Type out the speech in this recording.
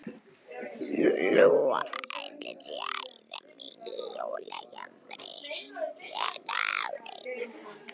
Lóa: Ætlið þið að eyða miklu í jólagjafir þetta árið?